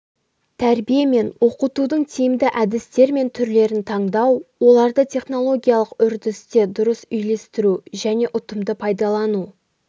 тәрбие мен оқытудың тимді әдістер мен түрлерін таңдау оларды технологиялық үрдісте дұрыс үйлестіру және ұтымды пайдалану